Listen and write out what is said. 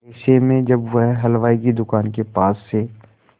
ऐसे में जब वह हलवाई की दुकान के पास से